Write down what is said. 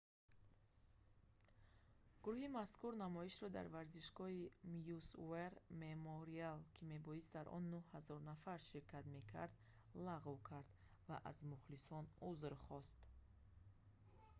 гурӯҳи мазкур намоишро дар варзишгоҳи maui's war memorial ки мебоист дар он 9 000 нафар ширкат мекард лағв кард ва аз мухлисон узр хост